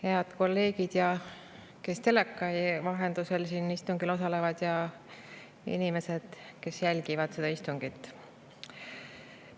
Head kolleegid, kes teleka vahendusel siin istungil osalevad, ja inimesed, kes jälgivad seda istungit!